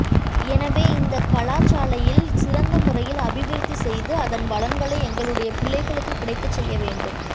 எனவே இந்த கலாசாலையில் சிறந்த முறையில் அபிவிருத்தி செய்து அதன் பலன்களை எங்களுடைய பிள்ளைகளுக்க கிடைக்கச் செய்ய வேண்டும்